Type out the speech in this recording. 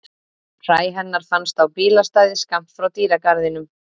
Hræ hennar fannst á bílastæði skammt frá dýragarðinum.